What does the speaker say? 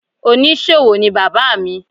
Onísòwò ni Bàbá mi.